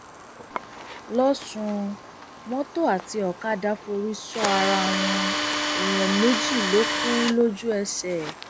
lọsùn mọtò àti ọkadà forí sọ ara wọn èèyàn méjì ló kù lójú ẹsẹ